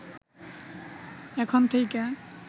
এখন থেইকা